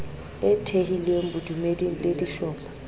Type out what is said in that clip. e thehilweng bodumeding le dihlopha